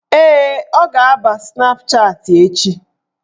Ee, ọ ga-aba Snapchatị echi